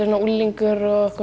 unglingur og